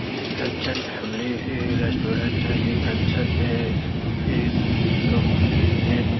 ये Kanchan family restaurant है ये कंचन --